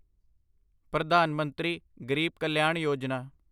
Pradhan Mantri Garib Kalyan Yojana